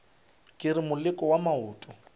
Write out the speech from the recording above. ke re moleko wa maoto